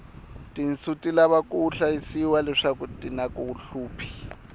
tinsu ti lava ku hlayisiwa leswaku tinaku hluphi